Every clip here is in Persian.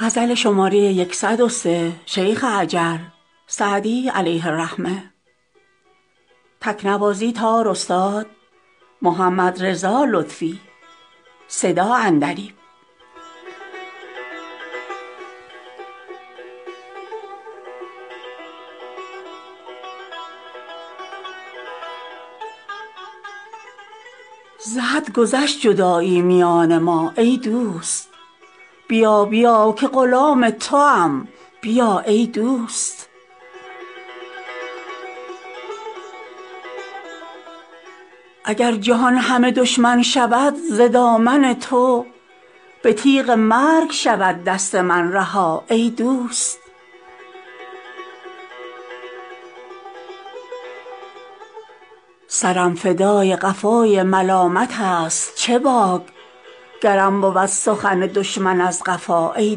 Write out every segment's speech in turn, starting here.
ز حد گذشت جدایی میان ما ای دوست بیا بیا که غلام توام بیا ای دوست اگر جهان همه دشمن شود ز دامن تو به تیغ مرگ شود دست من رها ای دوست سرم فدای قفای ملامتست چه باک گرم بود سخن دشمن از قفا ای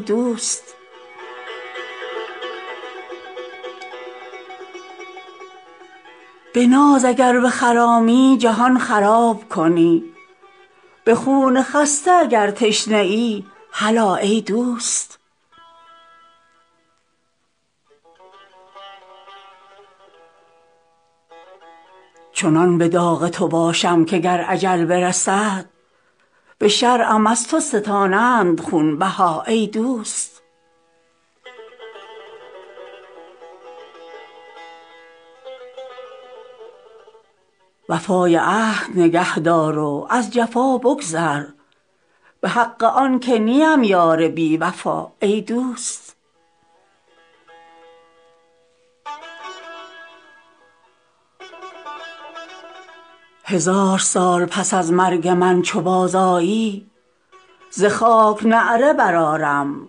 دوست به ناز اگر بخرامی جهان خراب کنی به خون خسته اگر تشنه ای هلا ای دوست چنان به داغ تو باشم که گر اجل برسد به شرعم از تو ستانند خونبها ای دوست وفای عهد نگه دار و از جفا بگذر به حق آن که نیم یار بی وفا ای دوست هزار سال پس از مرگ من چو بازآیی ز خاک نعره برآرم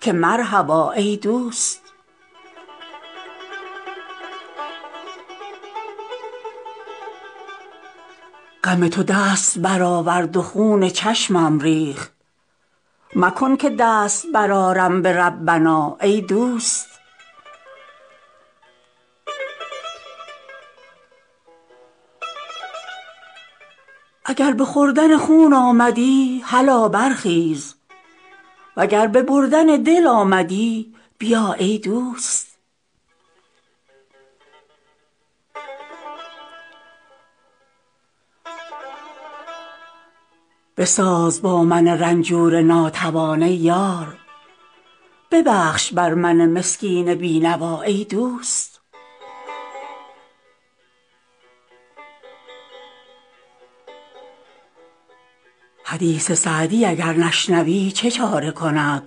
که مرحبا ای دوست غم تو دست برآورد و خون چشمم ریخت مکن که دست برآرم به ربنا ای دوست اگر به خوردن خون آمدی هلا برخیز و گر به بردن دل آمدی بیا ای دوست بساز با من رنجور ناتوان ای یار ببخش بر من مسکین بی نوا ای دوست حدیث سعدی اگر نشنوی چه چاره کند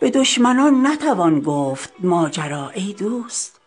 به دشمنان نتوان گفت ماجرا ای دوست